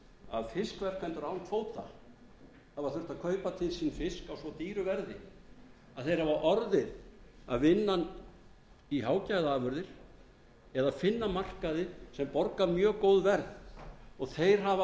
að fiskverkanir án kvóta hafa þurft að kaupa til sín fisk á svo dýru verði að þeir hafa orðið að vinna hann í hágæðaafurðir eða finna markaði sem borga mjög góð verð og þeir hafa